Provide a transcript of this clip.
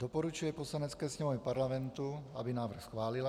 Doporučuje Poslanecké sněmovně Parlamentu, aby návrh schválila.